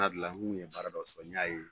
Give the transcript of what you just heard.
tun ye baara dɔ sɔrɔ n y'a ye